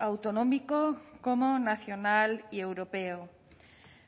autonómico como nacional y europeo